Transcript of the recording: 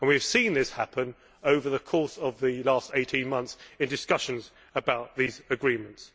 We have seen this happen over the course of the last 18 months in discussions about these agreements.